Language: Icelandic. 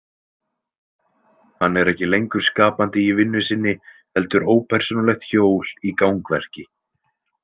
Hann er ekki lengur skapandi í vinnu sinni heldur ópersónulegt hjól í gangverki.